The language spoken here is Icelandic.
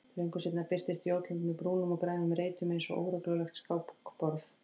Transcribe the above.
Löngu seinna birtist Jótland með brúnum og grænum reitum einsog óreglulegt skákborð.